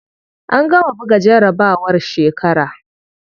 An gama buga jarabawar shekara.